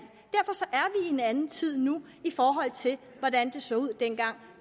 en anden tid nu i forhold til hvordan det så ud dengang